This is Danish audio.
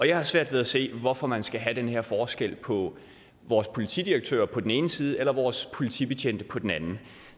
jeg har svært ved at se hvorfor man skal have den her forskel på vores politidirektører på den ene side og vores politibetjente på den anden